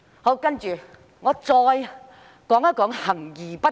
我再談談行而不果。